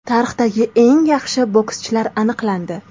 Tarixdagi eng yaxshi bokschilar aniqlandi.